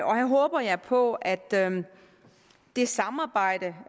og her håber jeg på at det samarbejde